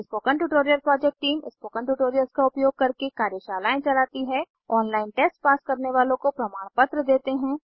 spoken tutorial project team spoken tutorials का उपयोग करके कार्यशालाएं चलाती है ऑनलाइन टेस्ट पास करने वालों को प्रमाणपत्र देते हैं